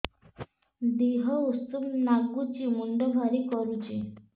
ଦିହ ଉଷୁମ ନାଗୁଚି ମୁଣ୍ଡ ଭାରି କରୁଚି